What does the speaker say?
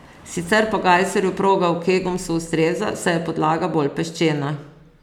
Sicer pa Gajserju proga v Kegumsu ustreza, saj je podlaga bolj peščena.